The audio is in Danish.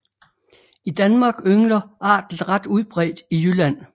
I Danmark yngler arten ret udbredt i Jylland